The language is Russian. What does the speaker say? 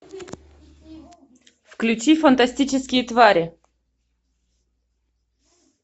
включи фантастические твари